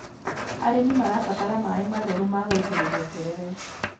Arĩmi marabatara maaĩ matheru magũitĩrĩria terere.